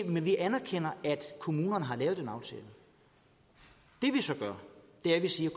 men vi anerkender at kommunerne har lavet den aftale det vi så gør er at vi siger